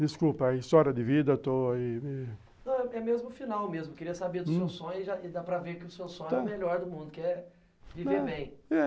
Desculpa aí, história de vida, estou aí... É mesmo o final mesmo, queria saber do seu sonho e dá para ver que o seu sonho é o melhor do mundo, que é viver bem.